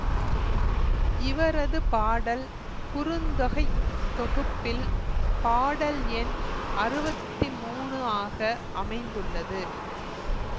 இவரது பாடல் குறுந்தொகைத் தொகுப்பில் பாடல் எண் அறுவத்தி மூனு ஆக அமைந்துள்ளது